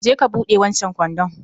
je ka buɗe wancan kwandon